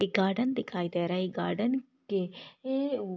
एक गार्डन दिखाई दे रहा है एक गार्डन के ए उ--